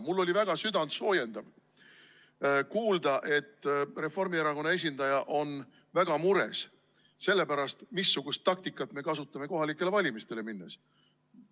Mul oli väga südantsoojendav kuulda, et Reformierakonna esindaja on väga mures selle pärast, missugust taktikat me kasutame kohalikele valimistele minnes.